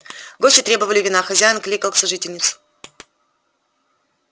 гости требовали вина хозяин кликал сожительницу